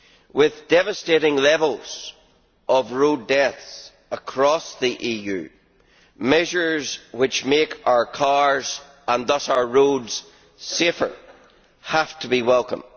With devastating levels of road deaths across the EU, measures which make our cars and thus our roads safer have to be welcome.